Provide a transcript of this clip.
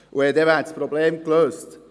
Dann wäre das Problem gelöst.